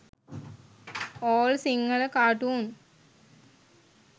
all sinhala cartoon